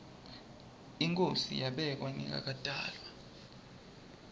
inkhosi yabekwa ngingakatalwa